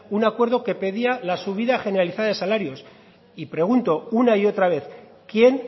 un acuerdo que pedía la subida generalizada de salarios y pregunto una y otra vez quién